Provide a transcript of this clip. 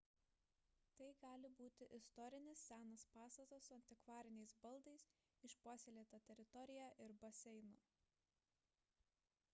tai gali būti istorinis senas pastatas su antikvariniais baldais išpuoselėta teritorija ir baseinu